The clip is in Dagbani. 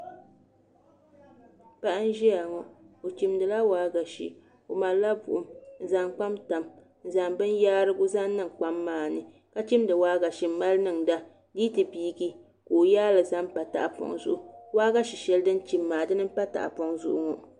Paɣa n ʒiya ŋo o chimdila waagashe o malila buɣum n zaŋ kpam tam n zaŋ binyaarigu zaŋ niŋ kpam maa ni ka chimdi waagashe n mali niŋda di yi ti biigi ka o yaali zaŋ pa tahapoŋ zuɣu waagashe shɛli din chim maa dini n pa tahapoŋ zuɣu ŋo